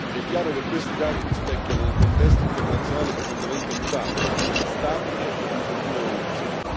È chiaro che questi dati rispecchiano un contesto internazionale profondamente mutato, instabile e in continua evoluzione.